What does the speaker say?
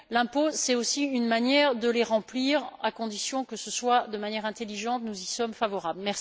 L'impôt est aussi un moyen de les remplir et, à condition que ce soit de manière intelligente, nous y sommes favorables.